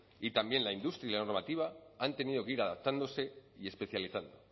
y también la industria y la normativa han tenido que ir adaptándose y especializando